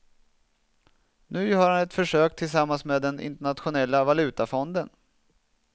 Nu gör han ett försök tillsammans med den internationella valutafonden.